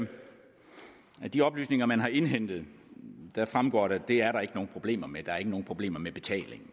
de oplysninger man har indhentet fremgår det det er der ikke nogen problemer med der er ikke nogen problemer med betalingen